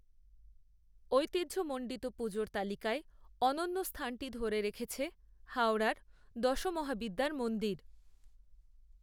ঐতিহ্য মণ্ডিত পুজোর তালিকায় অনন্য স্থানটি ধরে রেখেছে হাওড়ার দশমহাবিদ্যার মন্দির